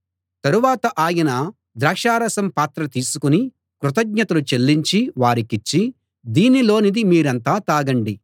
తరువాత ఆయన ద్రాక్ష రసం పాత్ర తీసుకుని కృతజ్ఞతలు చెల్లించి వారికిచ్చి దీనిలోనిది మీరంతా తాగండి